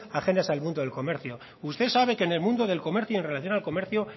ajenas al mundo del comercio usted sabe que el mundo del comercio en relación al comercio